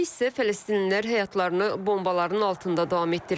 Hələliksə fələstinlilər həyatlarını bombaların altında davam etdirir.